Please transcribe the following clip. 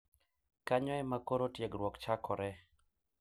Kanyo ema koro tiegruok chakore.